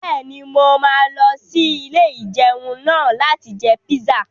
Bẹ́ẹ̀ni, mo máa lọ sí ilé-ìjẹun náà láti jẹ píṣà